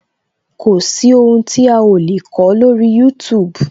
Kò sí ohun tí a o lè kọ lórí youtube